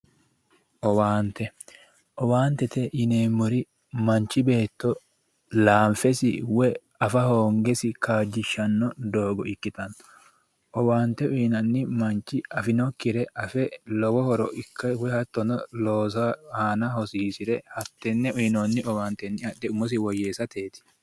owaante owaantete yineemmorichi laanfesi woy afa hhoongesi kaajjishshanno doogo ikkitanna owante uyinanni manch afinokkire afe lowo horo ikke loosu aana hosiisire tenne uyinonni owante adhe umosi woyyeessateeti